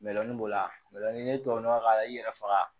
b'o la ni ye tubabu nɔgɔ ka i yɛrɛ faga